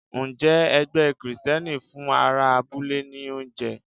Ǹjẹ́ ẹgbẹ́ Kristẹni fún ará abúlé ní oúnjẹ?